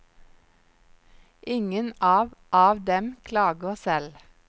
Ingen av av dem klager selv.